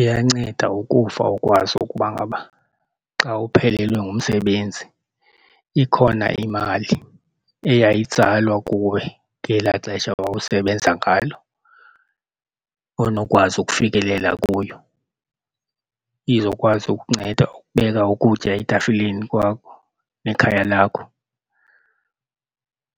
Iyanceda ukufa ukwazi ukuba ngaba xa uphelelwe ngumsebenzi ikhona imali eyayitsalwa kuwe ngelaa xesha wawusebenza ngalo onokwazi ukufikelela kuyo izokwazi ukunceda ukubeka ukutya etafileni kwakho nekhaya lakho.